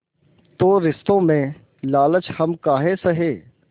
तो रिश्तों में लालच हम काहे सहे